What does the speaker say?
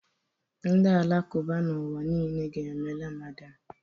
Ndị Alakụba n'ụwa niile ga-eme Ramadan